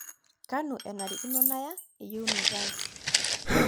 kanu enarikino naya eyieunata ai